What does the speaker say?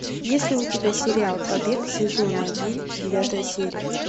есть ли у тебя сериал побег сезон один девятая серия